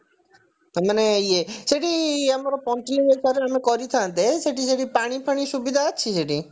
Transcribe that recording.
ତାମାନେ ଇଏ ସେଠି ଆମର ପଞ୍ଚଲିଙ୍ଗେଶ୍ଵରରେ ଆମେ କରିଥାନ୍ତେ ସେଠି ସେଠି ପାଣି ଫାଣି ସୁବିଧା ଅଛି ସେଠି